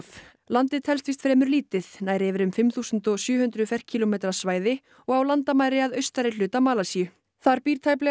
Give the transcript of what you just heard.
landið telst víst fremur lítið nær yfir um fimm þúsund og sjö hundruð ferkílómetra svæði og á landamæri að austari hluta Malasíu þar býr tæplega